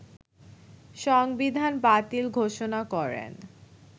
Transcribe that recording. সংবিধান বাতিল ঘোষণা করেন